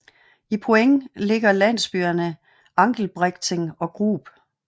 I Poing ligger landsbyerne Angelbrechting og Grub